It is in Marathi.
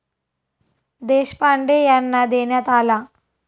देशपांडे यांना देण्यात आला.